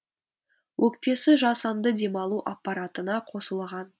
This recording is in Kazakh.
өкпесі жасанды демалу аппаратына қосылған